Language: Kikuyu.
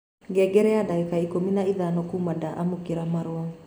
ngengere ya dagĩka ikũmi na ithano kuuma nda amũkĩra marũa